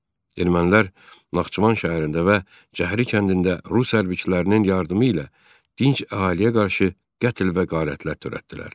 Ermənilər Naxçıvan şəhərində və Cəhri kəndində Rus hərbiçilərinin yardımı ilə dinç əhaliyə qarşı qətl və qarətlər törətdilər.